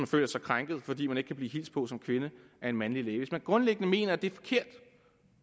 føler sig krænket fordi hun ikke kan blive hilst på som kvinde af en mandlig læge altså hvis man grundlæggende mener det er forkert